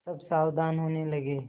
सब सावधान होने लगे